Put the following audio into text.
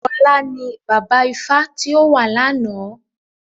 Ọlá ni bàbá ifá tí ó wà lána.